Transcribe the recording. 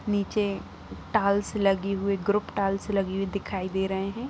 नीचे टाल्स लगी हुए ग्रुप टाल्स लगी हुई दिखाई दे रहे हैं।